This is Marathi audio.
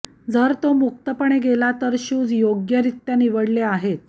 जर तो मुक्तपणे गेला तर शूज योग्यरित्या निवडले आहेत